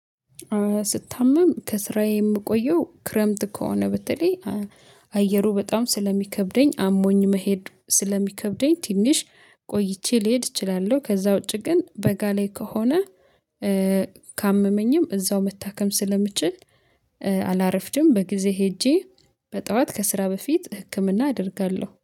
ስታመም ከስራዬ የምቆየው ክረምት ከሆነ በተለይ አየሩ በጣም ስለሚከብደኝ አሞኝ መሄድ ስለሚከብደኝ ትንሽ ቆይቼ ልሄድ እችላለሁ። ከዛ ውጪ ግን በጋ ላይ ከሆነ። ካመመኝም እዛው መታከም ስለምችል አላረፍድም በጊዜ ሄጄ በጠዋት ከስራ በፊት ህክምና አደርጋለሁ